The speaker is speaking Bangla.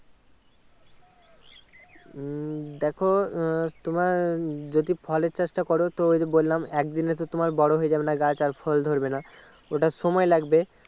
উম দেখো আহ তোমার যদি ফলের চাষটা করো তো ওই যে বললাম একদিনে তো বড়ো হয়ে যাবেনা গাছ আর ফল ধরবেনা ওটা সময় লাগবে